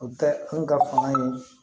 O tɛ anw ka kuma ye